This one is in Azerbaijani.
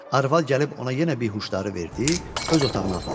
Arvad gəlib ona yenə behuşları verdi, öz otağına apardı.